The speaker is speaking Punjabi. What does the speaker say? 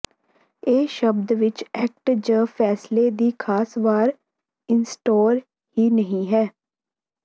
ਇਹ ਸ਼ਬਦ ਵਿਚ ਐਕਟ ਜ ਫੈਸਲੇ ਦੀ ਖਾਸ ਵਾਰ ਇੰਸਟਾਲ ਹੀ ਨਹੀ ਹੈ